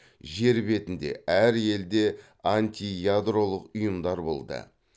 жер бетінде әр елде антиядролық ұйымдар болды